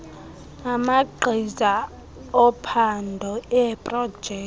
amagqiza ophando eeprojekthi